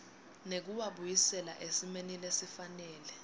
nekuwabuyisela esimeni lesifanele